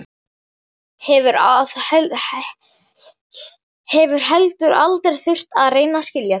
Hefur heldur aldrei þurft að reyna að skilja þá.